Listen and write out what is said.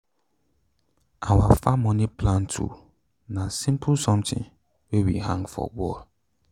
our farm moni plan tool na simple sometin wey we hang for wall.